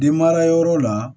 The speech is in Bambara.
Den mara yɔrɔ la